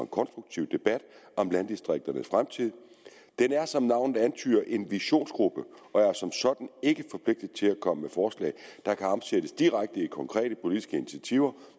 konstruktiv debat om landdistrikternes fremtid den er som navnet antyder en visionsgruppe og er som sådan ikke forpligtet til at komme med forslag der kan omsættes direkte i konkrete politiske initiativer